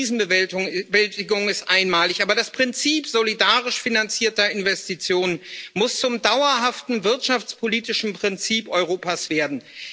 Ja, die Krisenbewältigung ist einmalig, aber das Prinzip solidarisch finanzierter Investitionen muss zum dauerhaften wirtschaftspolitischen Prinzip Europas werden.